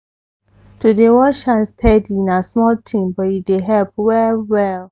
to dey wash hand steady na small thing but e dey help well well